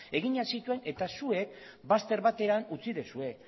eginak zituen eta zuek bazter batean utzi duzue